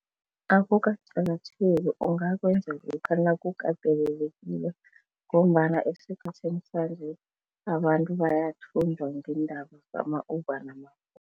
Akukaqakatheki, ungakwenza lokha nakukatelelekile ngombana esikhathini sanje abantu bayathunjwa ngeendaba zama-Uber